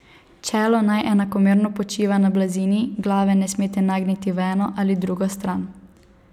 Čelo naj enakomerno počiva na blazini, glave ne smete nagniti v eno ali drugo stran.